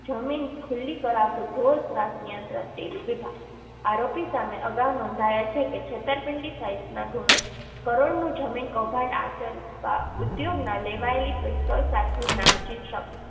જમીન ખુલ્લી કરાવતું ઢોરત્રાસ નિયંત્રણ શેરી વિભાગ આરોપી સામે અગાઉ નોંધાયા છે કે છેતરપિંડી સહિતના ગુનો કરોડોનું જમીન કૌભાંડ આચરવા ઉધોગ ના લેવાયેલી પિસ્તોલ સાથે નામચીન શખ્સ